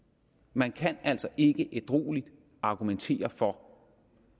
man kan altså ikke ædrueligt argumentere for